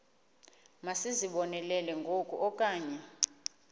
masizibonelele ngoku okanye